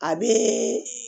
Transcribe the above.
A bɛ